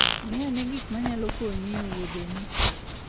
Ng'i ane gik manyalo konyi e wuodheni.